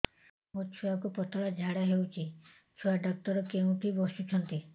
ମୋ ଛୁଆକୁ ପତଳା ଝାଡ଼ା ହେଉଛି ଛୁଆ ଡକ୍ଟର କେଉଁଠି ବସୁଛନ୍ତି